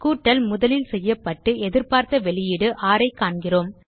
கூட்டல் முதலில் செயல்படுத்தப்பட்டு எதிர்பார்த்த வெளியீடு 6 ஐ காண்கிறோம்